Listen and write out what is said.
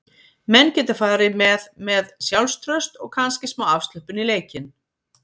Menn geta farið með með sjálfstraust og kannski smá afslöppun í leikinn.